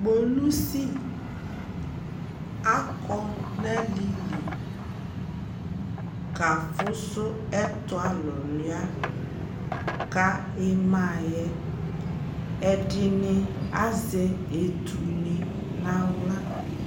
polisi akɔ nʋ alili kaƒʋsʋ ɛtʋ awʋwlia ka imaɛ, ɛdini azɛ ɛtʋ ni nʋ ala